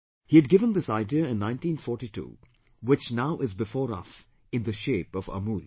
He had given this idea in 1942 which now is before us in the shape of AMUL